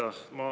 Aitäh!